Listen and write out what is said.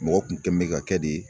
Mɔgɔ kun kɛ bɛ ka kɛ de